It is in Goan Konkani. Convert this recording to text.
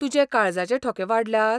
तुजे काळजाचे ठोके वाडल्यात?